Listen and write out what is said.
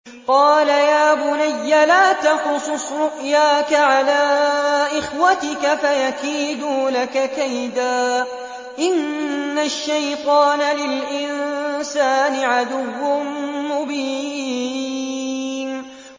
قَالَ يَا بُنَيَّ لَا تَقْصُصْ رُؤْيَاكَ عَلَىٰ إِخْوَتِكَ فَيَكِيدُوا لَكَ كَيْدًا ۖ إِنَّ الشَّيْطَانَ لِلْإِنسَانِ عَدُوٌّ مُّبِينٌ